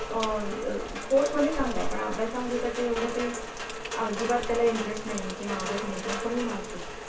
अ sport मध्ये चांगला आहे पण अभ्य्सा मध्ये त्याच्या एवढं काही अजिबात त्याला interest नाही किंवा आवडत नाही किंवा कमी marks